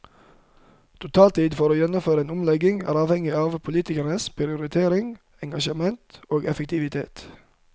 Totaltid for å gjennomføre en omlegging er avhengig av politikernes prioriteringer, engasjement og effektivitet.